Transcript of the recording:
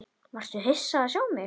Varstu hissa að sjá mig?